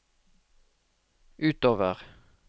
utover